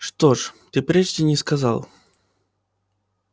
что ж ты прежде не сказал